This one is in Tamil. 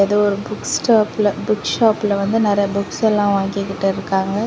இது ஒரு புக் ஸ்டாப்ல புக் ஷாப்ல வந்து நறைய புக்ஸ் எல்லா வாங்கிட்டு இருக்காங்க.